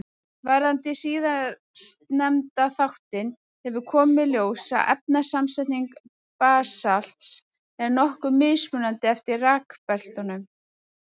Varðandi síðastnefnda þáttinn hefur komið í ljós að efnasamsetning basalts er nokkuð mismunandi eftir rekbeltunum.